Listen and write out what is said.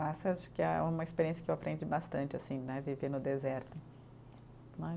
acho que é uma experiência que eu aprendi bastante assim né, viver no deserto, né